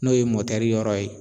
N'o ye motɛri yɔrɔ ye